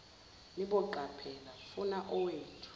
niboqaphela funa owethu